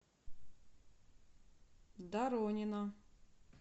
доронина